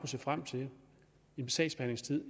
se frem til en sagsbehandlingstid